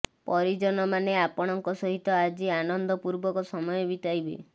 ପରିଜନମାନେ ଆପଣଙ୍କ ସହିତ ଆଜି ଆନନ୍ଦ ପୂର୍ବକ ସମୟ ବିତାଇବେ